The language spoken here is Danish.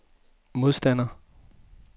modstander